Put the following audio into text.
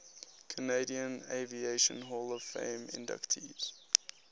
canadian aviation hall of fame inductees